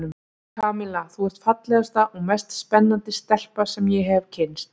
Kamilla, þú ert fallegasta og mest spennandi stelpa sem ég hef kynnst.